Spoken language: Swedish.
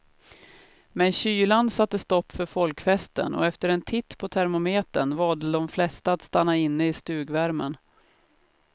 Men kylan satte stopp för folkfesten och efter en titt på termometern valde de flesta att stanna inne i stugvärmen.